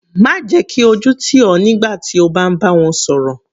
Má jẹ́ kí ojú tì ọ nígbà tí o bá ń bá wọn sọ̀rọ̀.